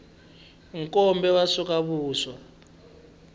nkombe wu sweka vuswa